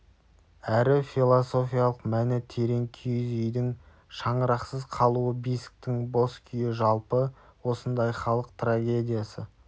әрі философиялық мәні терең киіз үйдің шаңырақсыз қалуы бесіктің бос күйі жалпы осындай халық трагедиясы